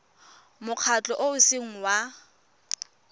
mokgatlho o o seng wa